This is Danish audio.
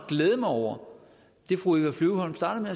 at glæde mig over det fru eva flyvholm startede